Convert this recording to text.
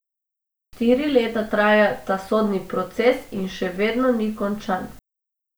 Štiri leta traja ta sodni proces in še vedno ni končan.